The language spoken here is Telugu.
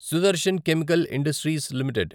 Sudarshan chemical industries limited